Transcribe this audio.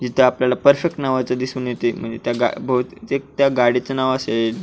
तिथ आपल्याला परफेक्ट नावच दिसून येत म्हणजे ते त्या गाडीच नाव असेल.